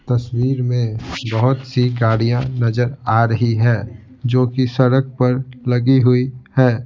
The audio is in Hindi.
तस्वीर में बहुत सी गाड़ियाँ नजर आ रही है जो कि सड़क पर लगी हुई है ।